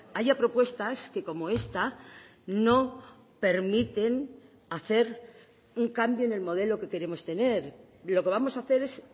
haya propuestas que como esta no permiten hacer un cambio en el modelo que queremos tener lo que vamos a hacer es